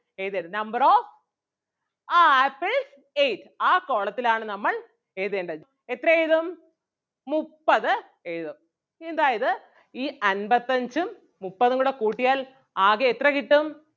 എഴുതേണ്ടത് number of ആഹ് apple ate ആ column ത്തിലാണ് നമ്മൾ എഴുതേണ്ടത് എത്ര എഴുതും മുപ്പത് എഴുതും. അതായത് ഈ അൻപത്തഞ്ചും മുപ്പതും കൂടെ കൂട്ടിയാൽ ആകെ എത്ര കിട്ടും?